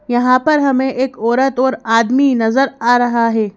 यहाँ पर हमें एक औरत और आदमी नजर आ रहा है।